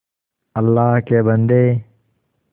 अल्लाह के बन्दे